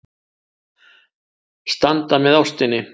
Standa með ástinni.